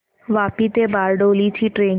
वापी ते बारडोली ची ट्रेन